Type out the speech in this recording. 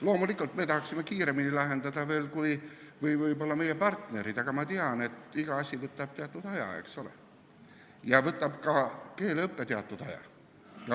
Loomulikult me tahaksime kõike veel kiiremini lahendada kui meie partnerid, aga ma tean, et iga asi võtab aega ja ka keeleõpe võtab teatud aja.